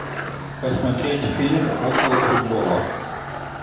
посмотреть фильм около футбола